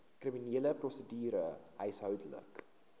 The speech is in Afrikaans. kriminele prosedure huishoudelike